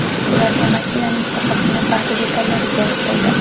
Ularga mashinaning faqatgina ba’zi detallari kerak bo‘ldi.